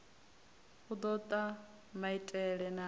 u do ta maiteie na